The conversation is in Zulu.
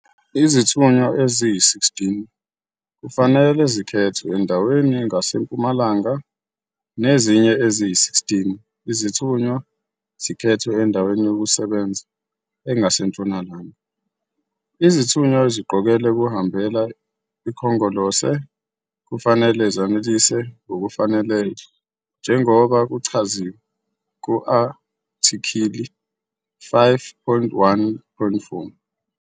Izithunywa eziyi-16 kufanele zikhethwe endaweni engasempumalanga nezinye eziyi-16 izithunywa zikhethwe endaweni yokusebenza engasentshonalanga. Izithunywa eziqokelwe ukuhambela iKhongolose kufanele zanelise ngokufaneleyo njengoba kuchaziwe ku-athikhili 5.1.4'.